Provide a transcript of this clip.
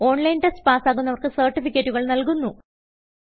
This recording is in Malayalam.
ഓൺലൈൻ ടെസ്റ്റ് പാസ്സാകുന്നവർക്ക് സർട്ടിഫികറ്റുകൾ നല്കുന്നു